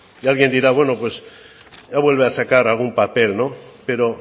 y alguien dirá bueno pues ya vuelve a sacar algún papel pero